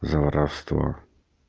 за воровство